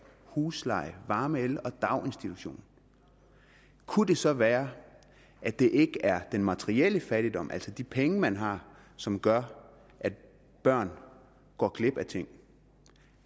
husleje varme el og daginstitution kunne det så være at det ikke er den materielle fattigdom altså de penge man har som gør at børn går glip af ting